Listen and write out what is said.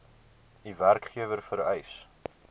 u werkgewer vereis